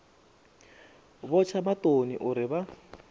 vho tsha maṱoni uri vha